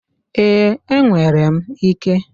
Ee, enwere m ike.